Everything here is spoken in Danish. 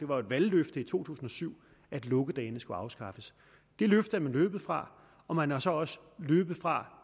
var et valgløfte i to tusind og syv at lukkedagene skulle afskaffes det løfte er man løbet fra og man er så også løbet fra